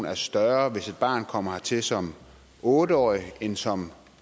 er større hvis et barn kommer hertil som otte årig end som